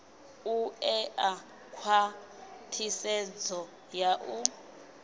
u ṋea khwathisedzo ya u